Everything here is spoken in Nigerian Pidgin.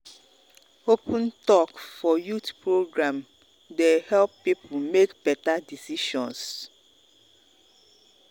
open talk for youth program dey help people make better decisions.